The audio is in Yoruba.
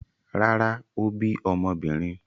Rárá, ó bí ọmọbìnrin.